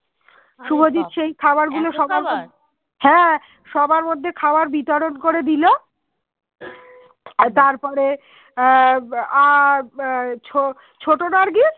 তার পরে আহ ছোট নার্গিস